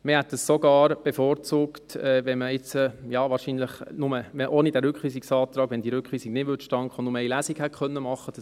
Wir hätten sogar bevorzugt, wenn dieser Rückweisung nicht zustande gekommen wäre, dass wir nur eine Lesung hätten machen können.